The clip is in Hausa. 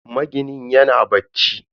Maginin yana bacci.